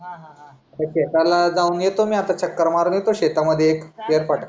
शेताला जाऊन येतो मी आता चक्कर मारून येतो शेट मध्ये एक फेरफटका